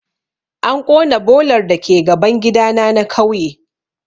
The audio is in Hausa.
An ƙona bolar dake gaban gidana na kauye